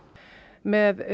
með